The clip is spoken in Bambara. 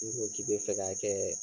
I ko k'i be fɛ ka kɛ